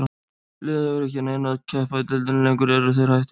Liðið hefur ekki að neinu að keppa í deildinni lengur, eru þeir hættir?